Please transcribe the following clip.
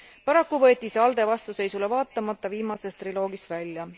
Paraku võeti see ALDE vastuseisule vaatamata viimases triloogis välja.